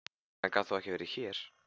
Hann getur þó ekki verið hér!